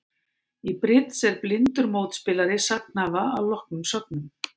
Í bridds er blindur mótspilari sagnhafa að loknum sögnum.